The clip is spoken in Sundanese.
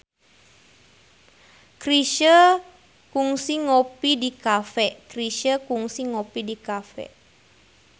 Chrisye kungsi ngopi di cafe